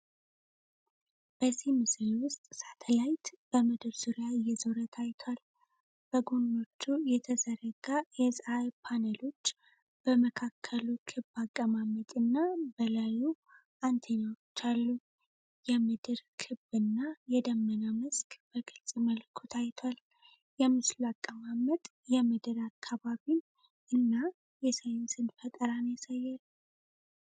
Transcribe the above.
በዚህ ምስል ውስጥ ሳተላይት በምድር ዙሪያ እየዞረ ታይቷል። በጎኖቹ የተዘረጋ የፀሐይ ፓነሎች፣ በመካከሉ ክብ አቀማመጥ እና በላዩ አንቴናዎች አሉ። የምድር ክብ እና የደመና መስክ በግልጽ መልኩ ታይቷል። የምስሉ አቀማመጥ የምድር አካባቢን እና የሳይንስ ፈጠራን ያሳያል።